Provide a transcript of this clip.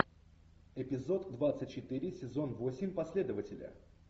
эпизод двадцать четыре сезон восемь последователи